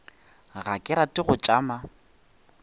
ga ke rate go tšama